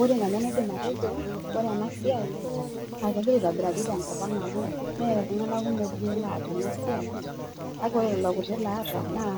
Ore nanu enaidim atejo, ore ena siai naa kegira aitobiraari tenkopang amu mee iltung'anak kumok duo loota ena siai kake ore lelo kuti loota naa